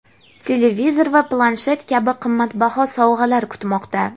televizor va planshet kabi qimmatbaho sovg‘alar kutmoqda.